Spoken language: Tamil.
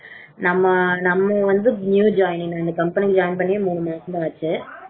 நம்ம வந்து நம்ம வந்து new joining இந்த company join பண்ணியே மூணு மாசம் தான் ஆச்சு